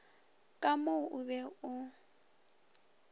ka mo o be o